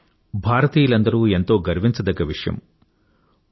ఇది భారతీయులందరూ ఎంతో గర్వించదగ్గ విషయం